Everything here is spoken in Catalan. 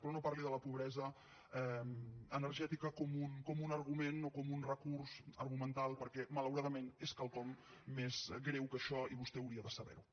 però no parli de la pobresa energètica com un argument o com un recurs argumental perquè malauradament és quelcom més greu que això i vostè hauria de saberho